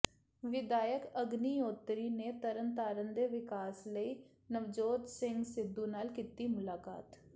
ਵਿਧਾਇਕ ਅਗਨੀਹੋਤਰੀ ਨੇ ਤਰਨ ਤਾਰਨ ਦੇ ਵਿਕਾਸ ਲਈ ਨਵਜੋਤ ਸਿੰਘ ਸਿੱਧੂ ਨਾਲ ਕੀਤੀ ਮੁਲਾਕਾਤ